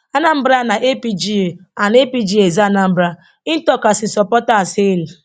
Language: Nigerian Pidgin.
anambra na apga and apga is anambra im tok as im supporters hail